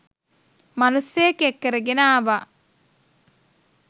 මනුස්සයෙක් එක්කරගෙන ආව